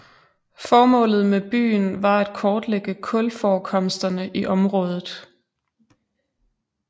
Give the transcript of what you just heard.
Formålet med byen var at kortlægge kulforekomsterne i området